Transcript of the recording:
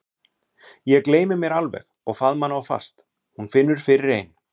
Ég gleymi mér alveg og faðma hana of fast: Hún finnur fyrir ein